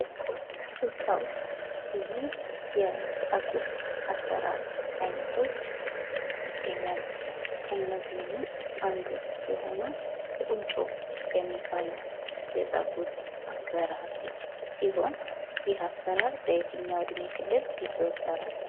ኢትዮጵያ ውስጥ ብዙ የ ፀጉር አሰራር አይነቶች ይገኛሉ። ከእነዚህም ውስጥ አንዱ የሆነው ቁንጮ የሚባለው የፀጉር አሠራር ሲሆን፤ ይህ አሠራር በየትኛውም ዕድሜ ክልል ይዘወተራል?